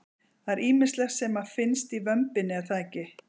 Það er ýmislegt sem að finnst í vömbinni er það ekki?